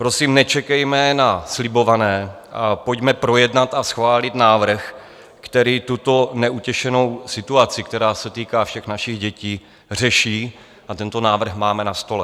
Prosím, nečekejme na slibované a pojďme projednat a schválit návrh, který tuto neutěšenou situaci, která se týká všech našich dětí, řeší, a tento návrh máme na stole.